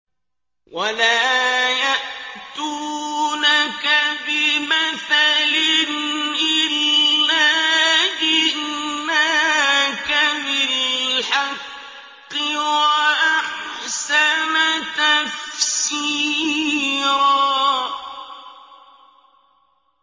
وَلَا يَأْتُونَكَ بِمَثَلٍ إِلَّا جِئْنَاكَ بِالْحَقِّ وَأَحْسَنَ تَفْسِيرًا